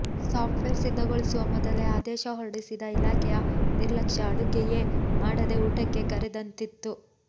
software ಸಿದ್ಧಗೊಳಿಸುವ ಮೊದಲೇ ಆದೇಶ ಹೊರಡಿಸಿದ ಇಲಾಖೆಯ ನಿರ್ಲಕ್ಷ್ಯ ಅಡುಗೆಯೇ ಮಾಡದೆ ಊಟಕ್ಕೆ ಕರೆದಂತಿತ್ತು